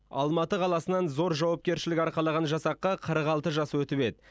алматы қаласынан зор жауапкершілік арқалаған жасаққа қырық алты жас өтіп еді